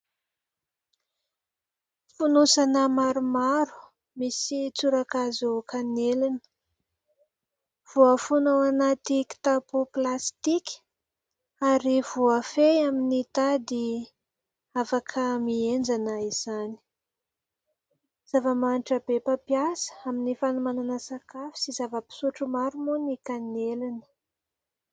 Fonosana maromaro misy tsora-kazo kanelina, voafono ao anaty kitapo plastika ary voafehy amin'ny tady afaka mihenjana izany. Zava-manitra be mpampiasa amin'ny fanomanana sakafo sy zava-pisotro maro moa ny kanelina.